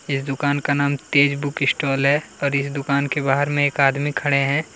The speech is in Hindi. इस दुकान का नाम तेज़ बुक स्टोल हैं और इस दुकान के बाहर में एक आदमी खड़े हैं।